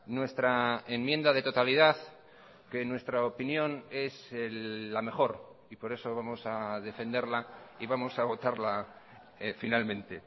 nuestra enmienda de totalidad que en nuestra opinión es la mejor y por eso vamos a defenderla y vamos a votarla finalmente